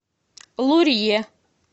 лурье